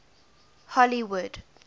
hollywood